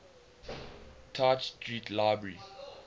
tite street library